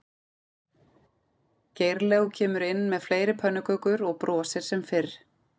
Geirlaug kemur inn með fleiri pönnukökur og brosir sem fyrr